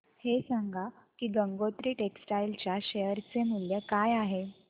हे सांगा की गंगोत्री टेक्स्टाइल च्या शेअर चे मूल्य काय आहे